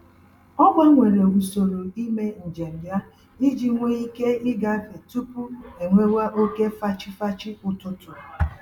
Ọ gbanwere usoro ímé njem ya iji nwe ike igafe tupu enwewa oke fachi-fachi ụtụtụ